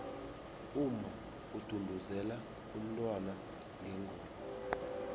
umma udunduzela umntwana ngengoma